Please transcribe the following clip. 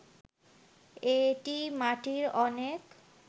এটি মাটির অনেক